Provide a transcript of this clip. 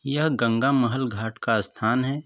यह गंगा महल घाट का स्थान है।